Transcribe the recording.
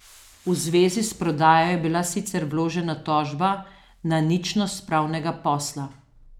V zvezi s prodajo je bila sicer vložena tožba na ničnost pravnega posla.